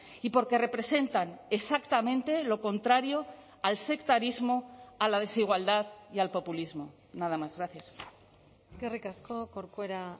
y porque representan exactamente lo contrario al sectarismo a la desigualdad y al populismo nada más gracias eskerrik asko corcuera